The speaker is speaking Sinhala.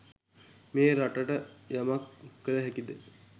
මේ රටට යමක් කල හැකිද?